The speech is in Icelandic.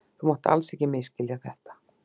Þú mátt ekki misskilja þetta.